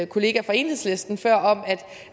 kollega fra enhedslisten om